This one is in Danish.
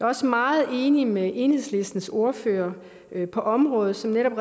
også meget enig med enhedslistens ordfører på området som netop